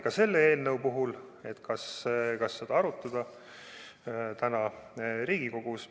Ka selle eelnõu puhul arutati, kas seda täna Riigikogus arutada.